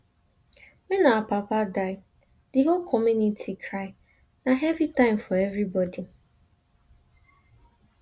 wen our papa die di whole community cry na heavy time for everybodi